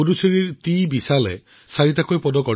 পুডুচেৰীৰ ১৬ বছৰীয়া টিবিশালে চাৰিটা পদক লাভ কৰে